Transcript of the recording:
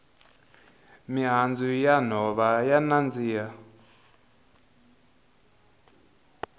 mihandzu ya nhova ya nandziha